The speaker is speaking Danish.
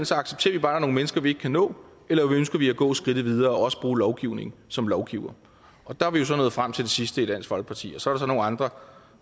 så accepterer vi bare nogle mennesker vi ikke kan nå eller ønsker vi at gå skridtet videre og også bruge lovgivning som lovgivere der er vi jo så nået frem til det sidste i dansk folkeparti og så er der så nogle andre